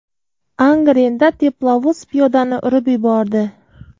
Angrenda teplovoz piyodani urib yubordi.